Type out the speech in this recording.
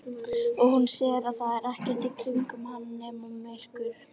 Og hún sér að það er ekkert í kringum hana nema myrkur.